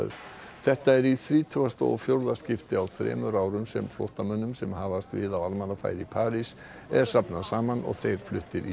þetta er í þrítugasta og fjórða skiptið á þremur árum sem flóttamönnum sem hafast við á almannafæri í París er safnað saman og þeir fluttir í